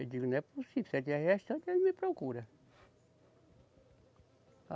Eu digo, não é possível, se ela estiver gestante, ela me procura.